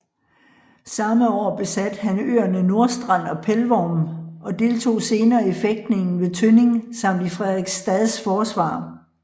Samme år besatte han øerne Nordstrand og Pelvorm og deltog senere i fægtningen ved Tønning samt i Frederiksstads forsvar